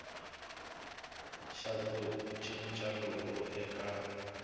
xa ku cinca loku eka